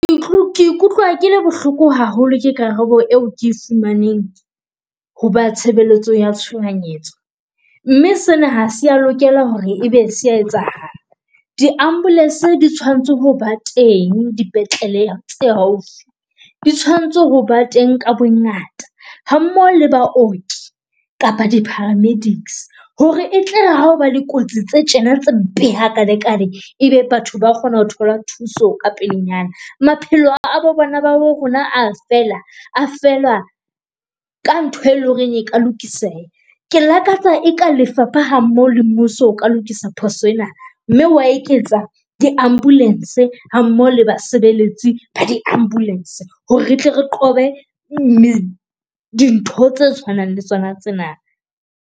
Ke ikutlwa kele bohloko haholo ke karabo eo ke e fumaneng ho ba tshebeletso ya tshohanyetso. Mme sena ha sea lokela hore ebe se a etsahala. Di-ambulance di tshwanetse ho ba teng, dipetlele tse haufi. Di tshwanetse ho ba teng ka bongata ha mmoho le baoki kapa di-paramedics hore e tla re ha ho ba dikotsi tse tjena tse mpe hakalekale. E be batho ba kgona ho thola thuso ka pelenyana, maphelo a bo bana ba bo rona a fela feerla ka ntho e loreng e ka lokiseha. Ke lakatsa e ka lefapha ha mmoho le mmuso o ka lokisa phoso ena mme wa eketsa di-ambulance ha mmoho le basebeletsi ba di-ambulance hore re tle re qobe dintho tse tshwanang le tsona tsena.